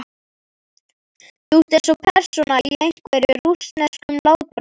Þú ert eins og persóna í einhverjum. rússneskum látbragðsleik.